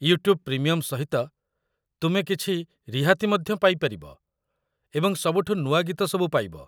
YouTube premium ସହିତ ତୁମେ କିଛି ରିହାତି ମଧ୍ୟ ପାଇପାରିବ ଏବଂ ସବୁଠୁ ନୂଆ ଗୀତ ସବୁ ପାଇବ।